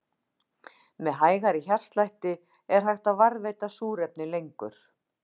Með hægari hjartslætti er hægt að varðveita súrefni lengur.